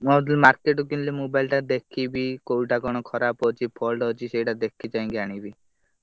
ମୁଁ ଭାବୁଥିଲି market ରୁ କିଣିଥିଲେ mobile ଟା ଦେଖିମି କୋଉଟା କଣ ଖରାପ୍ ଅଛି fault ଅଛି ସେଇଟା ଦେଖି ଚାହିଁ କି ଆନିବି।